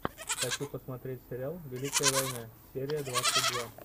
хочу посмотреть сериал великая война серия двадцать два